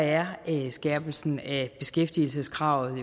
er er skærpelsen af beskæftigelseskravet